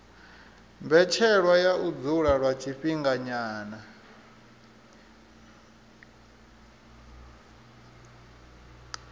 mbetshelwa ya u dzula lwa tshifhinganyana